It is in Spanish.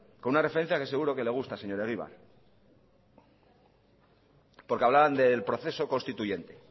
con una referencia que seguro que le gusta señor egibar porque hablaban del proceso constituyente